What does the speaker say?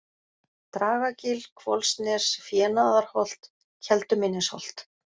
Dragagil, Hvolsnes, Fénaðarholt, Keldumynnisholt